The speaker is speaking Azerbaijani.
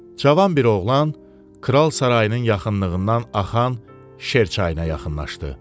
Cavan bir oğlan kral sarayının yaxınlığından axan Şer çayına yaxınlaşdı.